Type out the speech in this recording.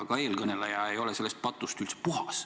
Ka eelkõneleja ei ole sellest patust üldse puhas.